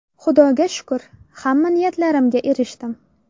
Xudoga shukr, hamma niyatlarimga erishdim.